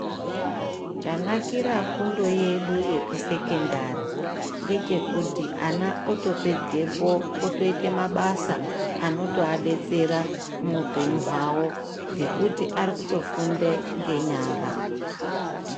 Chanakira fundo yedu yeku sekendari ngechokuti ana otopedzepo route mabasa anotowabetsera muupenyu wavo ngokuti arikutofunde ngenyara.